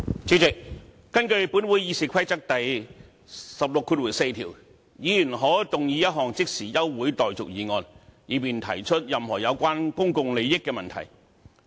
主席，根據本會《議事規則》第164條，"議員可動議一項立法會現即休會待續的議案，以便提出任何有關公共利益的問題"。